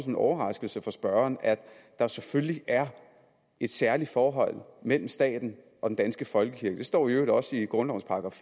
en overraskelse for spørgeren at der selvfølgelig er et særligt forhold mellem staten og den danske folkekirke det står i øvrigt også i grundlovens §